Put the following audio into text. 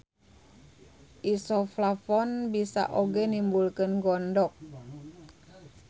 Isoflavon bisa oge nimbulkeun gondok.